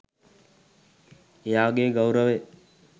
එයාගේ ගෞරවය